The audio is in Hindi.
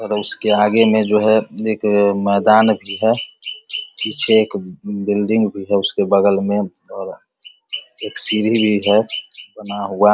और उसके आगे में जो है एक मैदान भी है। पीछे एक बिल्डिंग भी है उसके बगल में और एक सीढ़ी भी है बना हुआ।